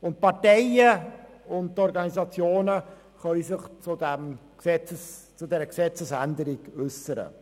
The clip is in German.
Die Parteien und Organisationen können sich zu dieser Gesetzesänderung äussern.